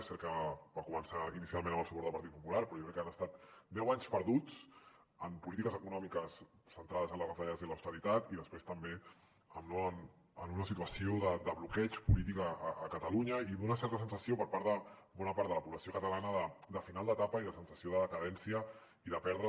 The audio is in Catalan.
és cert que va començar inicialment amb el suport del partit popular però jo crec que han estat deu anys perduts en polítiques econòmiques centrades en les retallades i l’austeritat i després també en una situació de bloqueig polític a catalunya i d’una certa sensació per part de bona part de la població catalana de final d’etapa i de sensació de decadència i de perdre